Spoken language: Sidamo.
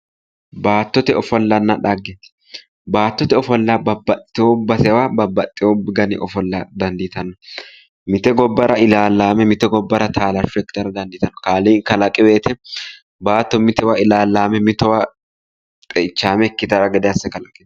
Baattote ofollonna dhagge:-baatote ofolla babaxitewo basera babaxitewo daninni ofolla dandiitanno mite gobbara ilaallame mite gobbara taallasho ikittara dandiittanno kaaliiqi kalaqiweete baatto mitowa ilaallame mitowa xeichaame ikkitanno gede asse kalaqqino